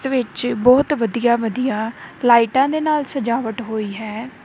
ਇਦੇ ਵਿਚ ਬਹੁਤ ਵਧੀਆ ਵਧੀਆ ਲਾਈਟਾਂ ਦੇ ਨਾਲ ਸਜਾਵਟ ਹੋਈ ਹੈ।